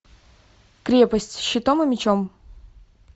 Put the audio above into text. крепость щитом и мечом